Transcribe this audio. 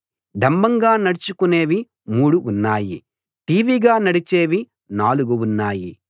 డంబంగా నడుచుకునేవి మూడు ఉన్నాయి ఠీవిగా నడిచేవి నాలుగు ఉన్నాయి